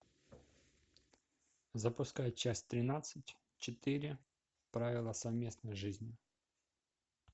запускай часть тринадцать четыре правила совместной жизни